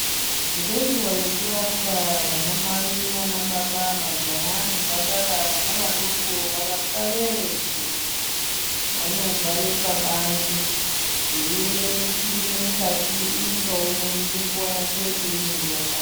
Ngenguwa yekurapwa anamai nanababa majaha nemhandara vana vadoko varapwa veshe vanogara pabanze veiemere kupinde mukati umwe ngaumwe ngenguwa yake painenge yakwana.